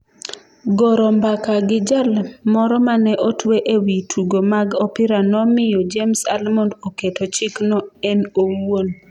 Goro mbaka gi jal moro mane otwe ewi tugo mag opira nomiyo James Almond oketo chikno en owuon.